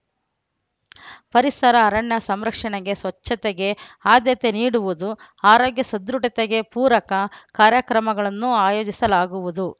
ಪರಿಸರ ಅರಣ್ಯ ಸಂರಕ್ಷಣೆ ಸ್ವಚ್ಛತೆಗೆ ಆದ್ಯತೆ ನೀಡುವುದು ಆರೋಗ್ಯ ಸದೃಢತೆಗೆ ಪೂರಕ ಕಾರ್ಯಕ್ರಮಗಳನ್ನು ಆಯೋಜಿಸಲಾಗುವುದು